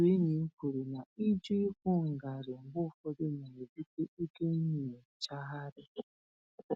Otu enyí m kwuru na ịjụ ịkwụ ngarị mgbe ụfọdụ na-ebute oke nyochagharị